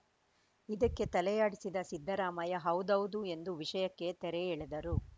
ಇದಕ್ಕೆ ತಲೆಯಾಡಿಸಿದ ಸಿದ್ದರಾಮಯ್ಯ ಹೌದೌದು ಎಂದು ವಿಷಯಕ್ಕೆ ತೆರೆ ಎಳೆದರು